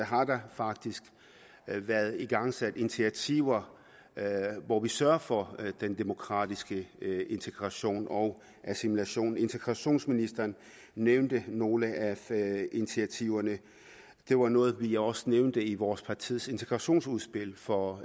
har der faktisk været igangsat initiativer hvor vi sørger for den demokratiske integration og assimilation integrationsministeren nævnte nogle af initiativerne det var noget vi også nævnte i vores partis integrationsudspil for